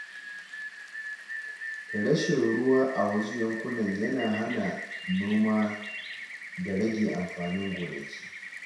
Rashin ruwa a wasu yankuna yana hana noma da rage amfanin gonaki.